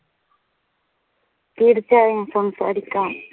തീർച്ചയായും സംസാരിക്കാം.